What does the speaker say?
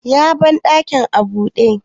ya bandakin a bude?